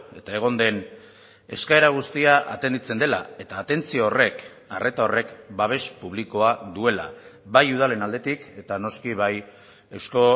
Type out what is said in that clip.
eta egon den eskaera guztia atenditzen dela eta atentzio horrek arreta horrek babes publikoa duela bai udalen aldetik eta noski bai eusko